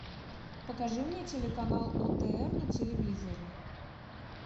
покажи мне телеканал отр на телевизоре